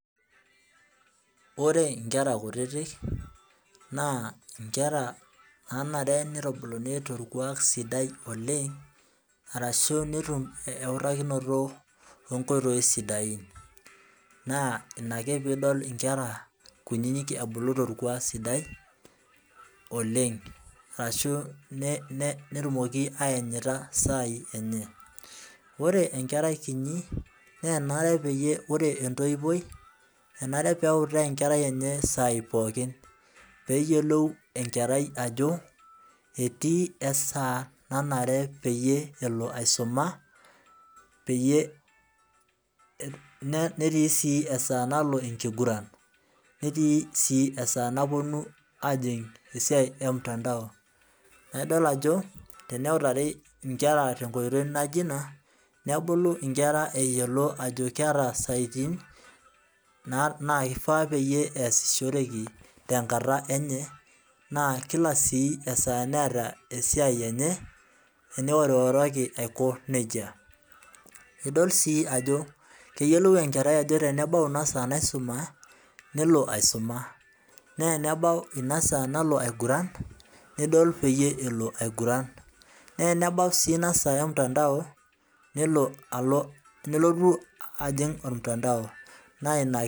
Ore inkera kutitik naa inkera naanare teitubuluni toorkuak sidai oleng' arashu netum ewutakinoto oo nkoitoi sidain, naa Ina ake piidol inkera kunyinyik ebulu toorkuak sidai oleng' arashu netumoki ayanyita isaai enye, ore enkerai kinyi naa enare peyie ore ntoiwoi enare peutaa enkerai enye isaai pookin peeyiolou enkerai ajo etii esaa nanare peyie elo aisuma peyie netii sii esaa nalo enkiguran, netii sii esaa naponu ejing' esiayi emtandao, naa idol ajo eneutari inkera tenkoitoi naijo ina, nebulu inkera eyiolo ajo keeta isayyitin naakifaa peyie eyasishoreki tenkata enye naakila sii esaa neeta esiai enye teniworoworoki aiko nejia, idol sii ajo keyiolou enkerai ajo tenebau ina saa naisumai nelo aisuma, naa enebau ina saa nalo aigurran nidol peyie elo aiguran, naa enebau sii inasaa emtandao nelo alo nelotu ajing' ormutandao naa ina.